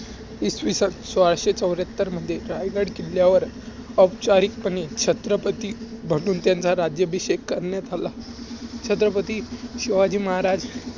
इसविसन सोळाशे चौऱ्याहत्तर मध्ये रायगड किल्ल्यावर औपचारिकपणे छत्रपती म्हणून त्यांचा राज्याभिषेक करण्यात आला.